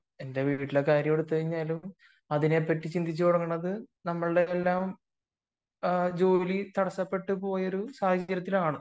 എന്റെ വീട്ടിലെ കാര്യം എടുത്തുകഴിഞ്ഞാലും അതിനെപ്പറ്റി ആലോചിച്ചു തുടങ്ങുന്നത് നമ്മുടെയെല്ലാം ജോലി തടസ്സപ്പെട്ടുപോയ സാഹചര്യത്തിലാണ്